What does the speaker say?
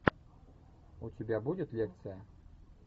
у тебя будет лекция